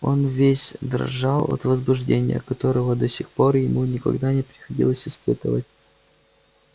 он весь дрожал от возбуждения которого до сих пор ему никогда не приходилось испытывать